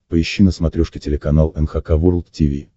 поищи на смотрешке телеканал эн эйч кей волд ти ви